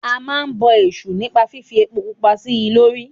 A máa ń bọ èṣù nípa fífi epo pupa sí i lórí.